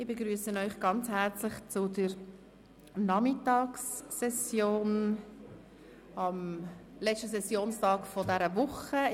Ich begrüsse Sie ganz herzlich zur Nachmittagssitzung des letzten Sessionstags dieser Woche.